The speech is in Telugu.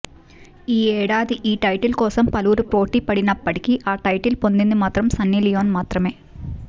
ఈ ఏడాది ఈ టైటిల్ కోసంపలువురు పోటీపడినప్పటికీ ఆ టైటిల్ పొందింది మాత్రం సన్నీలియోన్ మాత్రమే